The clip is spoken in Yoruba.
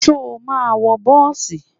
Ṣo ma wọ bọ́ọ̀sì?